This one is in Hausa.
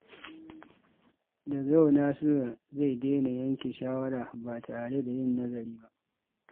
Daga yau, Nasiru zai daina yanke shawara ba tare da yin nazari ba.